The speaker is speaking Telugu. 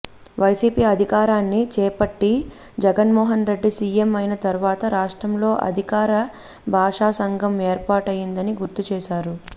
వైసిపి అధికారాన్ని చేపట్టి జగన్మోహన్ రెడ్డి సీఎం అయిన తరువాతే రాష్ట్రంలో అధికార భాషాసంఘం ఏర్పాటయ్యిందని గుర్తుచేశారు